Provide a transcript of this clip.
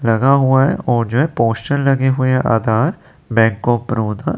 लगा हुआ है और ये पोस्टर लगे हुए हैं आधार बैंक ऑफ़ बड़ौदा।